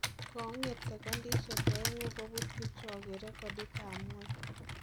Konget sekondisiek ongengu kobuut Eliud Kipchoge regotit an ngweny.